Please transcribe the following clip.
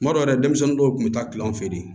Kuma dɔ la denmisɛnnin dɔw kun bɛ taa kilɔn fɛ de